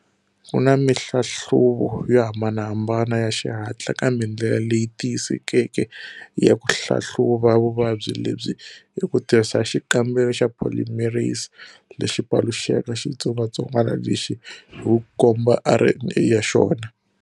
Ku na mihlahluvo yo hambanahambana ya xihatla, kambe ndlela leyi tiyisekeke ya ku hlahluva vuvabyi lebyi i ku tirhisa xikambelo xa polymerase lexi paluxaka xitsongwatsongwana lexi hi ku komba RNA ya xona.